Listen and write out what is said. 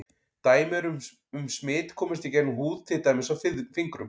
Dæmi eru um að smit komist í gegnum húð til dæmis á fingrum.